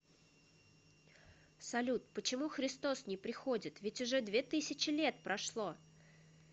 салют почему христос не приходит ведь уже две тысячи лет прошло